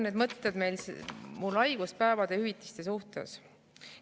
Need mõtted on mul haiguspäevade hüvitiste suhtes.